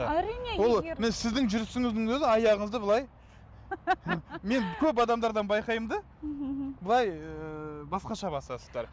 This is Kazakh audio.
әрине егер сіздің жүрісіңіздің өзі аяғыңызды былай мен көп адамдардан байқаймын да былай ыыы басқаша басасыздар